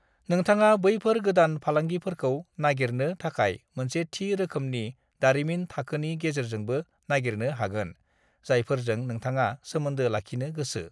नोंथाङा बैफोर गोदान फालांगिफोरखौ नागिरनो थाखाय मोनसे थि रोखोमनि दारिमिन थाखोनि गेजेरजोंबो नागिरनो हागोन, जायफोरजों नोंथाङा सोमोन्दो लाखिनो गोसो।